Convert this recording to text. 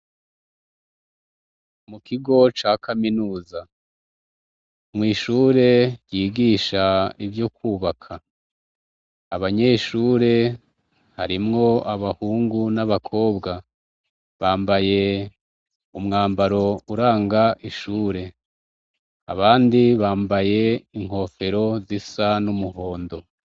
Mukigo ca kaminuza mw'ishuri ryigisha ivyokwubaka, abanyeshure harimwo abahungu n'abakobwa bambaye umwambaro uranga ishure abandi bambaye inkofero zisa n'umuhondo.